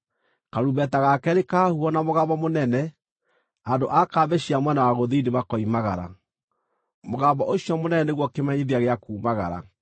Karumbeta ga keerĩ kahuhwo na mũgambo mũnene, andũ a kambĩ cia mwena wa gũthini makoimagara. Mũgambo ũcio mũnene nĩguo kĩmenyithia gĩa kuumagara.